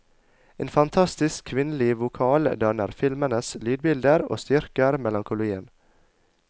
En fantastisk kvinnelig vokal danner filmenes lydbilder, og styrker melankolien.